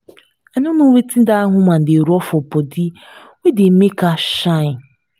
i no know wetin dat woman dey rub for body wey dey make her shine